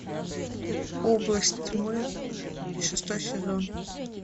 область тьмы шестой сезон